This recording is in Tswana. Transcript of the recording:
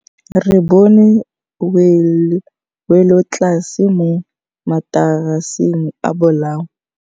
Re bone wêlôtlasê mo mataraseng a bolaô.